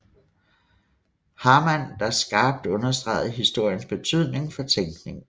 Hamann der skarpt understregede historiens betydning for tænkningen